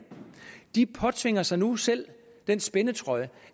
påtvinger sig nu selv den spændetrøje